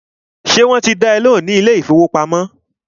Ṣé wọ́n ti dá ẹ lóhùn ní ilé ìfọwọ́pamo?